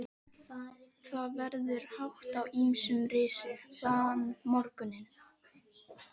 Það verður hátt á ýmsum risið þann morguninn.